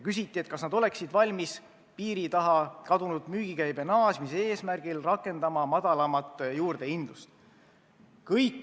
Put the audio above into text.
Küsiti, et kas nad oleksid valmis piiri taha kadunud müügikäibe naasmise eesmärgil rakendama väiksemat juurdehindlust.